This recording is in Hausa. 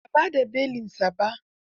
Ba a ba da belinsa ba.